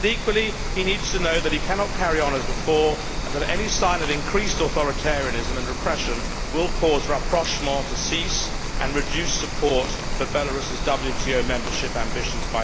But, equally, he needs to know that he cannot carry on as before and that any sign of increased authoritarianism and repression will cause rapprochement to cease and reduce support by the EU for Belarus's WTO membership ambitions.